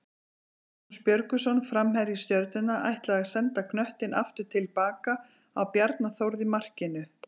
Magnús Björgvinsson framherji Stjörnunnar ætlaði að senda knöttinn aftur tilbaka á Bjarna Þórð í markinu.